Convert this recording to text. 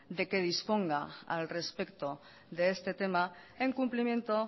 de que disponga al respeto de este tema en cumplimiento